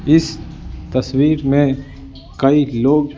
इस तस्वीर में कई लोग--